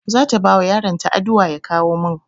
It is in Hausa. Zata bawa yaron ta adua ya kawo min